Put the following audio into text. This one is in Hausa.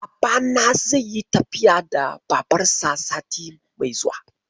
Babana zai yi tafiya da Babarsa sati mai zuwa.